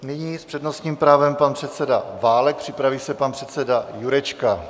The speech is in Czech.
Nyní s přednostním právem pan předseda Válek, připraví se pan předseda Jurečka.